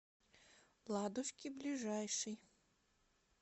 ладушки ближайший